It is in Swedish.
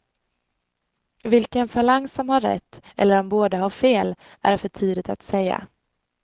Vilken falang som har rätt, eller om båda har fel, är för tidigt att säga.